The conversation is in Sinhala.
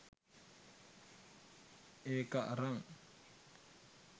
ඒක අරං